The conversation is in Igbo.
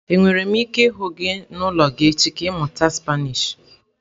Enwere m ike ịhụ gị n'ụlọ gị echi?, ka ịmụta spanish.